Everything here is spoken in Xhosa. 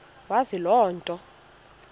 wazi loo nto